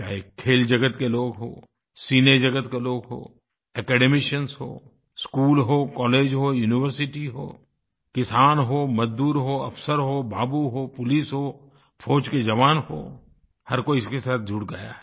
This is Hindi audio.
चाहे खेल जगत के लोग हों सिनेजगत के लोग हों एकेडमिशियन्स हों स्कूल हों कॉलेज हों यूनिवर्सिटी हों किसान हों मज़दूर हों अफ़सर हों बाबू हों पुलिस हों फौज के जवान हों हर कोई इसके साथ जुड़ गया है